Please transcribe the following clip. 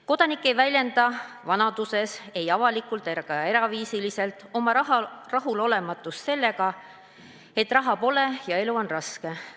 Kodanik ei väljenda vanaduses ei avalikult ega eraviisiliselt oma rahulolematust sellega, et raha pole ja elu on raske.